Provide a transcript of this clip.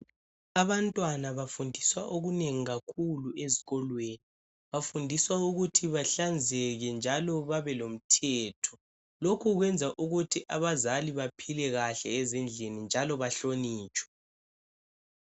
Abantwana bafundiswa okunengi kakhulu ezikolweni okokuthi bahlanzeke njalo babe lomthetho. Lokhu kwenza ukuthi abazali baphile kahle ezindlini njalo bahlonitshwe.